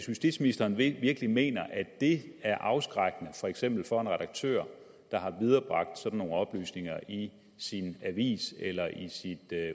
justitsministeren virkelig mener at det er afskrækkende for eksempel for en redaktør der har viderebragt sådan nogle oplysninger i sin avis eller i sit